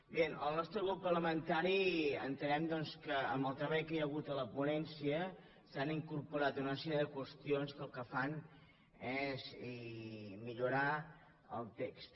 bé el nostre grup par·lamentari entenem doncs que amb el treball que hi ha hagut a la ponència s’hi han incorporat una sèrie de qüestions que el que fan és millorar el text